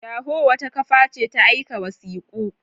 Yahoo wata kafa ce ta aika wasiku.